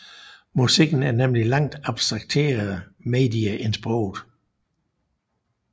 Musikken er nemlig et langt abstraktere medie end sproget